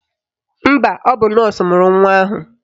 Mba, ọ bụ nọọsụ mụrụ nwa ahụ.